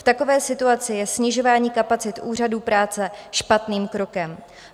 V takové situaci je snižování kapacit úřadů práce špatným krokem.